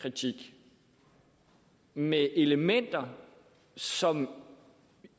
kritik med elementer som